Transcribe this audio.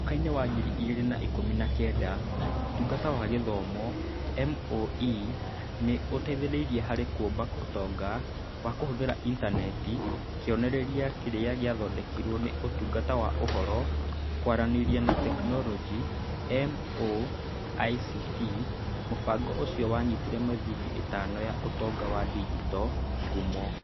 Mwakainĩ wa ngiri igĩrĩ na ikũmi na kenda, Ũtungata wa Gĩthomo (MoE) nĩ ũteithirie harĩ kũũmba Ũtonga wa Kũhũthĩra Intaneti Kĩonereria kĩrĩa gĩathondekirwo nĩ Ũtungata wa Ũhoro, Kwaranĩria na Teknoroji (MoICT). Mũbango ũcio nĩ wonanĩtie mĩthingi ĩtano ya ũtonga wa digito. Ngumo